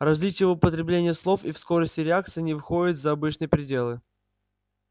различия в употреблении слов и в скорости реакции не выходят за обычные пределы